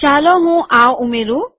ચાલો હું આ ઉમેરું